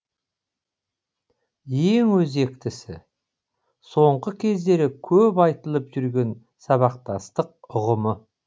ең өзектісі соңғы кездері көп айтылып жүрген сабақтастық ұғымы